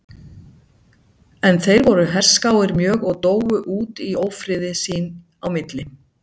En þeir voru herskáir mjög og dóu út í ófriði sín á milli.